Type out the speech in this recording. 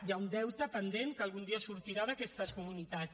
hi ha un deute pendent que algun dia sortirà d’aquestes comunitats